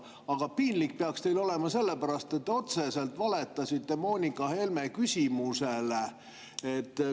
Aga piinlik peaks teil olema selle pärast, et te otseselt valetasite Moonika Helme küsimusele.